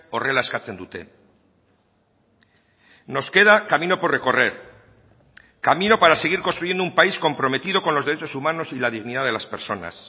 horrela eskatzen dute nos queda camino por recorrer camino para seguir construyendo un país comprometido con los derechos humanos y la dignidad de las personas